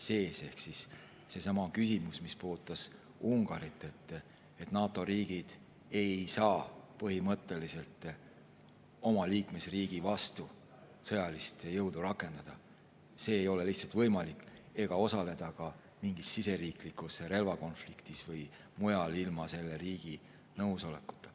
See on seesama küsimus, mis puudutas Ungarit: NATO riigid ei saa põhimõtteliselt oma liikmesriigi vastu sõjalist jõudu rakendada, see ei ole lihtsalt võimalik, ega osaleda ka mingis siseriiklikus relvakonfliktis või mujal ilma selle riigi nõusolekuta.